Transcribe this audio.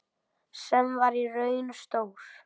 Sem var í raun stór